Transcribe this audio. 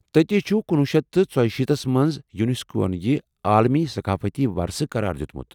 تتی چُھ ، کنۄہ شیتھ تہٕ ژۄیشیٖتس منٛز یوُنیسکوہن یہِ عالمی ثقافتی وراثہٕ قرار دُیمُت۔